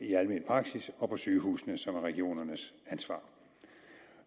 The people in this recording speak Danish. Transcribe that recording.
i almen praksis og på sygehusene som er regionernes ansvar